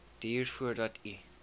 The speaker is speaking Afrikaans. duur voordat u